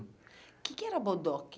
O que que era bodoque?